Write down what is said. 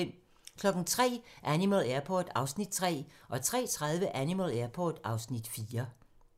03:00: Animal Airport (Afs. 3) 03:30: Animal Airport (Afs. 4)